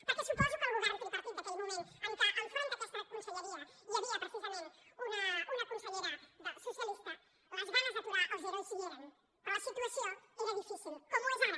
perquè suposo que al govern tripartit d’aquell moment en què al capdavant d’aquesta conselleria hi havia precisament una consellera socialista les ganes d’aturar els ero hi eren però la situació era difícil com ho és ara